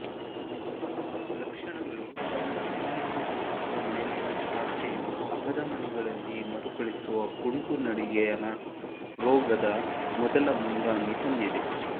ಲಕ್ಷಣಗಳು ತಮ್ಮ ಉಲ್ಲಂಘನೆ ತೋರಿಸುವ ಮೇಲಿನ ಶಾಖೆಯು ಅಪಧಮನಿಗಳಲ್ಲಿ ಮರುಕಳಿಸುವ ಕುಂಟು ನಡಿಗೆಯ ನ ರೋಗದ ಮೊದಲ ಮುಂಗಾಮಿ ಹೊಂದಿದೆ